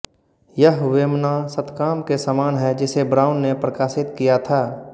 यह वेमना शतकाम के समान है जिसे ब्राउन ने प्रकाशित किया था